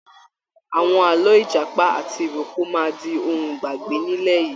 Àwọn àlọ́ Ìjàpá ati ìrókò máa di ohun ìgbàgbé nílẹ̀ yìí.